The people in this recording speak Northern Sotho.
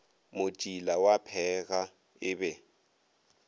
motšila wa pheega e be